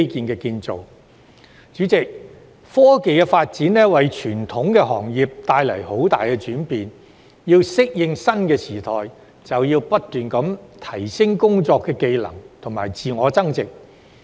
代理主席，科技發展為傳統行業帶來很大轉變，我們要適應新時代，就要不斷提升工作技能和自我增值。